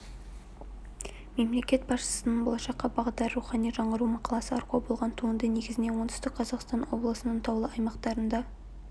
мемлекет басшысының болашаққа бағдар рухани жаңғыру мақаласы арқау болған туынды негізінен оңтүстік қазақстан облысының таулы аймақтарында